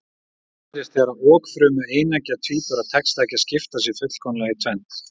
Þetta gerist þegar okfrumu eineggja tvíbura tekst ekki að skipta sér fullkomlega í tvennt.